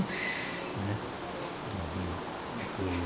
Né o navio como que eu